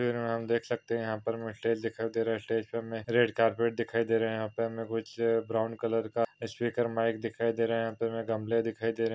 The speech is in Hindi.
फिर हम देख सकते है यहा पर हमे स्टेज दिखाई दे रहे है। स्टेज पे हमे रेड कार्पट दिखाई दे रहा है। यहा पर हमे कुछ ब्राउन कलर का स्पीकर माईक दिखाई दे रहा है। गमले दिखाई दे रहे है।